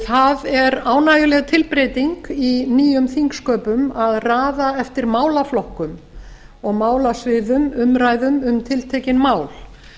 það er ánægjuleg tilbreyting í nýjum þingsköpum að raða eftir málaflokkum og málasviðum umræðum um tiltekin mál